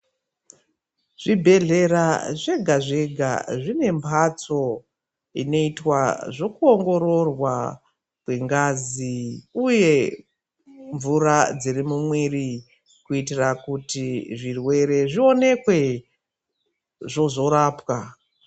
Zvibhedhlera zvega zvega zvine mbatso inoitwa zvekuongororwa kwengazi uye mvura dziri mumwiri kuitira kuti zvirwere zvionekwe zvozorapwa.